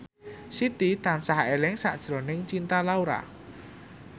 Siti tansah eling sakjroning Cinta Laura